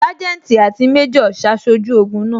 Sanjeti àti méjò ṣaṣojú ogun náà